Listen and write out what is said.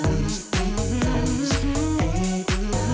við